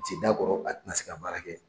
Sen d'a kɔrɔ, a tina se ka baara kɛ